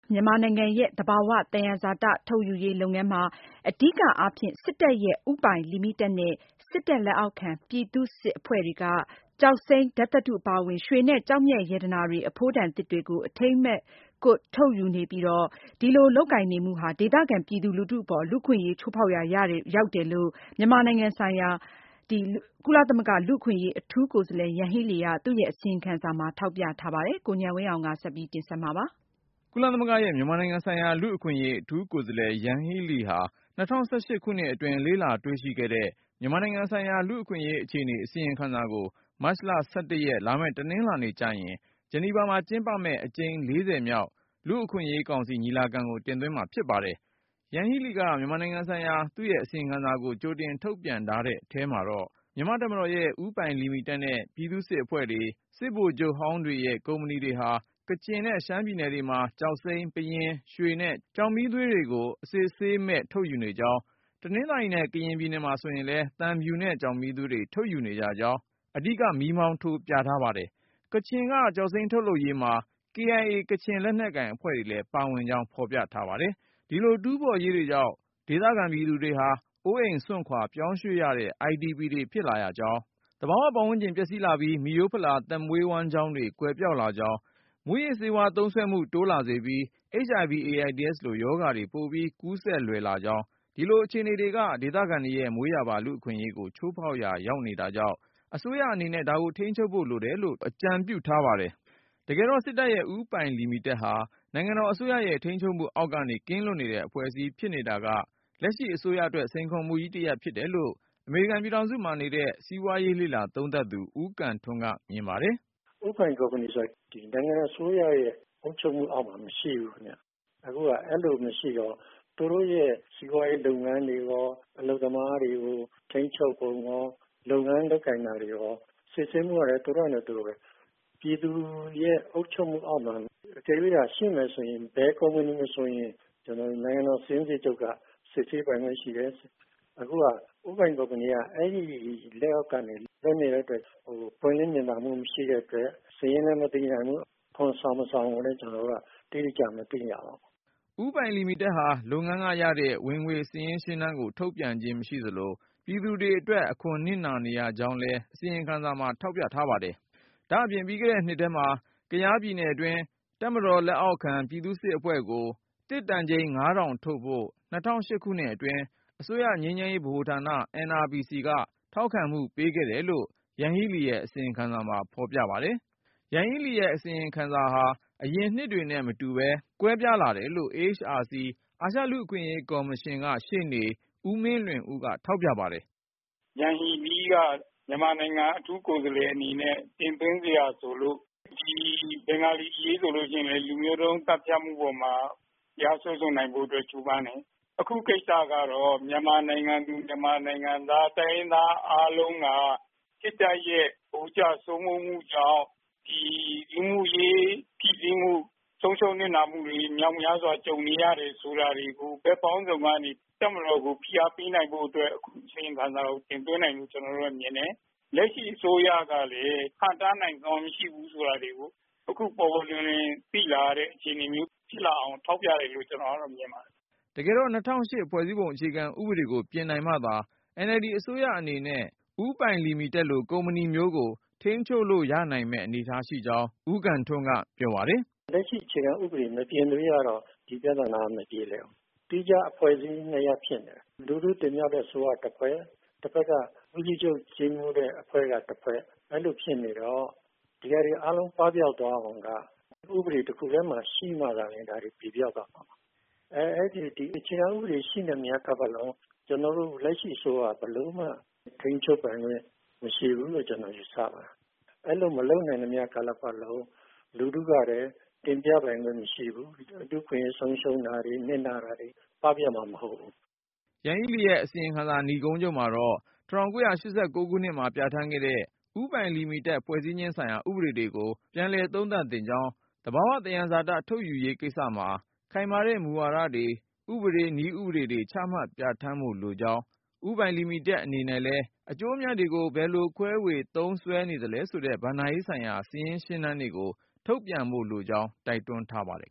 မြန်မာနိုင်ငံရဲ့ သဘာဝသယံဇာတ ထုတ်ယူရေးလုပ်ငန်းမှာ အဓိကအားဖြင့် စစ်တပ်ရဲ့ ဦးပိုင်လီမီတက်နဲ့ စစ်တပ်လက်အောက်ခံ ပြည်သူ့စစ် အဖွဲ့တွေက ကျောက်စိမ်း၊ ဓါတ်သတ္တု အပါအဝင် ရွှေနဲ့ ကျောက်မျက်ရတနာတွေ အဖိုးတန်သစ်တွေကို အထိန်းအကွပ်မဲ့ ထုတ်ယူနေပြီး၊ အဲဒီအဖွဲ့တွေက ပွင့်လင်းမြင်သာမှု မရှိတာ၊ တာဝန်ခံမှု တာဝန်ယူမှု မရှိတာတွေက ဒေသခံပြည်သူလူထုအပေါ် လူ့အခွင့်အရေး ချိုးဖေါက်ရာ ရောက်တယ်လို့ ရှေ့သီတင်းပတ်ထဲတင်သွင်းမယ့် မြန်မာနိုင်ငံဆိုင်ရာ လူ့အခွင့်အရေး အထူးကိုယ်စားလှယ် ယန်ဟီးလီရဲ့ အစီရင်ခံစာမှာ ဖေါ်ပြထားပါတယ်။ ကိုဉာဏ်ဝင်းအောင်က တင်ပြထားပါတယ်။ ကုလသမဂ္ဂရဲ့ မြန်မာနိုင်ငံဆိုင်ရာ လူ့အခွင့်အရေး အထူးကိုယ်စားလှယ် ယန်ဟီးလီဟာ ၂၀၁၈ ခုနှစ်အတွင်း လေ့လာတွေ့ရှိခဲ့တဲ့ မြန်မာနိုင်ငံ ဆိုင်ရာ လူ့အခွင့်အရေးအခြေအနေ အစီရင်ခံစာကို မတ်လ(၁၁)ရက် လာမယ့် တနင်္လာနေ့ကျရင် ဂျနီဗာမှာကျင်းပမယ့် အကြိမ်(၄၀)မြောက် လူ့အခွင့်အရေးကောင်စီ ညီလာခံကို တင်သွင်းမှာဖြစ်ပါတယ်။ ယန်ဟီးလီက မြန်မာနိုင်ငံဆိုင်ရာသူ့အစီရင်ခံစာကို ကြိုတင်ထုတ်ပြန်ထားတဲ့ အထဲမှာတော့ မြန်မာ့တပ်မတော်ရဲ့ ဦးပိုင်လီမီတက်နဲ့ ပြည်သူ့စစ် အဖွဲ့တွေ၊ စစ်ဗိုလ်ချုပ်ဟောင်းတွေရဲ့ ကုမ္ပဏီတွေဟာ ကချင်နဲ့ ရှမ်းပြည်နယ်တွေမှာ ကျောက်စိမ်း၊ ပယင်း၊ ရွှေနဲ့ ကျောက်မီးသွေးတွေကို အစစ်အဆေးမဲ့ ထုတ်ယူနေကြောင်း၊ တနင်္သာရီနဲ့ ကရင်ပြည်နယ်မှာဆိုရင်လည်း သံဖြူနဲ့ ကျောက်မီးသွေးတွေ ထုတ်ယူနေကြကြောင်း အဓိက မီးမောင်းထိုး ပြထားပါတယ်။ ကချင်က ကျောက်စိမ်းထုတ်ယူရေးမှာ KIA ကချင်လက်နက်ကိုင်အဖွဲ့လည်း ပါကြောင်းဖေါ်ပြထား ပါတယ်။ ဒီလိုတူးဖေါ်ရေးတွေကြောင့် ဒေသခံပြည်သူတွေဟာ အိုးအိမ်စွန့်ခွာပြောင်းရွှေ့ရတဲ့ IDP တွေဖြစ်လာရကြောင်း၊ သဘာဝ ပတ်ဝန်းကျင် ပျက်စီးလာပြီး မိရိုးဖလာ သက်မွေးဝမ်းကျောင်းတွေ ကွယ်ပျောက်လာကြောင်း၊ မူးယစ်ဆေးဝါးသုံးစွဲမှု တိုးလာစေပြီး HIV/AIDS လိုရောဂါတွေ ပိုပြီးကူးစက်လွယ်လာကြောင်း၊ ဒီလိုအခြေအနေတွေက ဒေသခံတွေရဲ့မွေးရာပါ လူ့အခွင့်အရေးကို ချိုးဖေါက်ရာ ရောက်နေတာကြောင့် အစိုးရအနေနဲ့ ဒါကိုထိန်းချုပ်ဖို့ လိုတယ်လို့ အကြံပြုထားပါတယ်။ တကယ်တေ့ာ စစ်တပ်ရဲ့ ဦးပိုင်လီမီတက်ဟာ နိုင်ငံတော်အစိုးရရဲ့ထိန်းချုပ်မှု အောက်ကနေ ကင်းလွတ်နေတဲ့ အဖွဲ့အစည်းဖြစ်နေတာက လက်ရှိ အစိုးရအတွက် စိန်ခေါ်မှုကြီးတရပ် ဖြစ်တယ်လို့ အမေရိကန်ပြည်ထောင်စုမှာနေတဲ့ စီးပွားရေးလေ့လာသုံးသပ်သူ ဦးကံထွန်းက မြင်ပါတယ်။ " ဦးပိုင် ကုမ္ပဏီဆိုတာ ဒီ နိုင်ငံ အစိုးရရဲ့ အုပ်ချုပ်မှုအောက်မှာ မရှိဘူး ခင်ဗျ။ အခုဟာ အဲလို မရှိတော့ သူတို့ရဲ့ စီးပွားရေး လုပ်ငန်းတွေရော အလုပ်သမားတွေကို ထိန်းချုပ်ပုံရော လုပ်ငန်း လုပ်ကိုင်တာတွေရော စစ်ဆေးမှုရော သူတို့ဟာနဲ့သူတို့ဘဲ။ ပြည်သူရဲ့ အုပ်ချုပ်မှုအောက်မှာ တကယ်လို့သာ ရှိမယ်ဆိုရင် ဘယ်ကုမ္ပဏီကို မဆိုရင် နိုင်ငံတော် စာရင်းစစ်ချုပ်က စစ်ဆေးပိုင်ခွင့် ရှိတယ်။ အခုဟာ ဦးပိုင် ကုမ္ပဏီက အဲဒီ လက်အောက်ကနေ လွတ်နေတဲ့ အတွက် ပွင့်လင်းမြင်သာမှု မရှိတဲ့ အတွက် စာရင်းလည်း မသိရဘူး။ အခွန်ဆောင် မဆောင်ကိုလည်း ကျနော်တို့က အတိအကျ မသိရပါဘူး။ " ဦးပိုင်လီမီတက်ဟာ လုပ်ငန်းကရတဲ့ ဝင်ငွေစာရင်းရှင်းတမ်းကို ထုတ်ပြန်ခြင်းမရှိသလို၊ ပြည်သူတွေအတွက် အခွန်နစ်နာနေရကြောင်းလည်း အစီရင်ခံစာမှာထောက်ပြပါတယ်။ ဒါ့အပြင် ပြီးခဲ့တဲ့နှစ်ထဲမှာ ကယားပြည်နယ်အတွင်း တပ်မတော်လက်အောက်ခံ ပြည်သူ့စစ်အဖွဲ့ကို သစ်တန်ချိန် (၅၀၀၀)ထုတ်ဖို့ ၂၀၁၈ ခု အတွင်း အစိုးရငြိမ်းချမ်းရေး ဗဟိုဌာန NRPC က ထောက်ခံမှုပေးခဲ့တယ်လို့ ယန်ဟီးလီရဲ့ အစီရင်ခံစာမှာ ဖေါ်ပြထားပါတယ်။ ယန်ဟီးလီရဲ့ အစီရင်ခံစာဟာ အရင်နှစ်တွေနဲ့မတူပဲ ကွဲပြားလာတယ်လို့ AHRC အာရှလူ့အခွင့်အရေးကော်မရှင်က ရှေ့နေ ဦးမင်းလွင်ဦးက ထောက်ပြ ပါတယ်။ " ယန်ဟီလီးက မြန်မာနိုင်ငံ အထူးကိုယ်စားလှယ် အနေနဲ့ တင်သွင်းစရာ ဆိုလို့ ဒီဘင်္ဂါလီ အရေးဆိုရင်လည်း လူမျိုးတုံး သတ်ဖြတ်မှု အပေါ်မှာ တရားစွဲဆိုနိုင်ဖို့ အတွက် ကြိုးပမ်းတယ်။ အခုကိစ္စကတော့ မြန်မာနိုင်ငံသူ မြန်မာနိုင်ငံသား တိုင်းရင်းသား အားလုံးက စစ်တပ်ရဲ့ ဗိုလ်ကျ စိုးမိုးမှုကြောင့် ဒီ လူမှုရေး ဖိစီးမှု၊ ဆုံးရှုံး နစ်နာမှုတွေ မြောက်များစွာ ကြုံနေရတယ်ဆိုတာတွေကို ဘက်ပေါင်းစုံကနေ တပ်မတော်ကို ဖိအားပေးနိုင်ဖို့ အတွက် အခု အစီရင်ခံစာကို တင်သွင်းတယ်လို့ ကျနော်တို့ကတော့ မြင်တယ်။ လက်ရှိ အစိုးရကလည်း ဟန့်တားနိုင်စွမ်း မရှိဘူးဆိုတာတွေကို အခု ပေါ်ပေါ်လွင်လွင် သိလာရတဲ့ အခြေအနေမျိုး ဖြစ်လာအောင် ထောက်ပြတယ်လို့ ကျနော်ကတော့ မြင်ပါတယ်။ " တကယ်တော့ ၂၀၀၈ ဖွဲ့စည်းပုံအခြေခံဥပဒေကို ပြင်နိုင်မှသာ NLD အစိုးရအနေနဲ့ ဦးပိုင်လီမီတက်လို့ ကုမ္ပဏီမျိုးကို ထိန်းချုပ်လို့ရနိုင်မယ့် အနေအထားမှာရှိကြောင်း ဦးကံထွန်းက ပြောပါတယ်။ " လက်ရှိ အခြေခံ ဥပဒေ မပြင်သရွေ့ကတော့ ဒီပြသနာက မပြေလည်ဘူး။ သီးခြား အဖွဲ့အစည်း နှစ်ရပ် ဖြစ်နေတယ်။ လူထုတင်မြှောက်တဲ့ အစိုးရက တဖက် ၊ တဖက်က ဦးစီးချုပ် ကြီးမှူးတဲ့ အဖွဲ့က တဖက် အဲလို ဖြစ်နေတော့ ဒီဟာတွေ အားလုံး ပပျောက်သွားအောင်က ဥပဒေ တခုတည်းမှာ ရှိမှသာလျင် ဒါ ပြေပျောက်သွားမှာပါ။ ဒီအခြေခံ ဥပဒေ ရှိနေသမျှ ကာလပတ်လုံး ကျနော်တို့ လက်ရှိ အစိုးရ ဘယ်လိုမှ ထိန်းချုပ်ပိုင်ခွင့် မရှိဘူးလို့ ကျနော် ယူဆပါတယ်။ အဲလို မလုပ်နိုင်သမျှ ကာလပတ်လုံး လူထုကလည်း တင်မြှောက်ပိုင်ခွင့် မရှိဘူး၊ လူ့အခွင့်အရေး ဆုံးရှုံးတာတွေ၊ နစ်နာတာတွေ၊ ပပျောက်မှာ မဟုတ်ဘူး။ " ယန်ဟီးလီရဲ့အစီရင်ခံစာ နိဂုံးချုပ်မှာတော့ ၁၉၈၉ ခုနှစ်က ပြဌာန်းခဲ့တဲ့ ဦးပိုင်လီမီတက် ဖွဲ့စည်းခြင်းဆိုင်ရာ ဥပဒေတွေကို ပြန်လည်သုံးသပ် သင့်ကြောင်း၊ သဘာဝသယံဇာတ ထုတ်ယူရေးကိစ္စမှာ ခိုင်မာတဲ့ မူဝါဒတွေ၊ ဥပဒေ နည်းဥပဒေတွေ ချမှတ်ပြဌာန်းဖို့ လိုကြောင်း၊ ဦးပိုင်လီမီတက် အနေနဲ့လည်း အကျိုးအမြတ်တွေကို ဘယ်လိုခွဲဝေ သုံးစွဲနေသလဲဆိုတဲ့ ဘဏ္ဍာရေးဆိုင်ရာ စာရင်းရှင်းတမ်းတွေကို ထုတ်ပြန်ဖို့ လိုကြောင်း တိုက်တွန်းထားပါတယ်